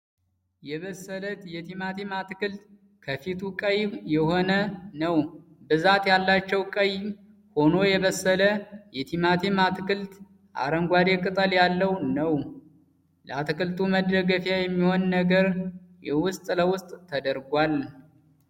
የበሰለ የቲማቲም አትክልት ከፊቱ ቀይ የሆነ ነዉ። ብዛት ያላቸዉ ቀይ ሆኖ የበሰለ የቲማቲም አትክልት አረንጓዴ ቅጠል ያለዉ ነዉ። ለአትክልቱ መደገፊያ የሚሆን ነገር ዉስጥ ለዉስጥ ተደርጓል።